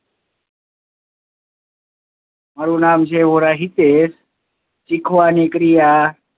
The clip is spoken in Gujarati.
મારુ નામ છે ઓરહિતે હેત શીખવાની ક્રિયા